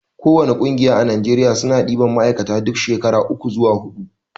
ko wani ƙungiya a najeriya suna ɗiban ma'aikata duk shekara uku zuwa huɗu